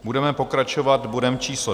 Budeme pokračovat bodem číslo